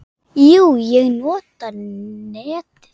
Jú, ég nota netið.